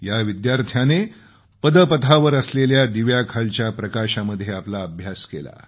या विद्यार्थ्याने पदपथावर असलेल्या दिव्याखालच्या प्रकाशामध्ये आपला अभ्यास केला